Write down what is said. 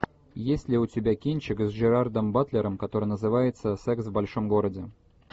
есть ли у тебя кинчик с джерардом батлером который называется секс в большом городе